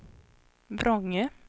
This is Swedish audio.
Vrångö